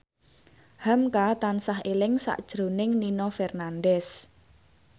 hamka tansah eling sakjroning Nino Fernandez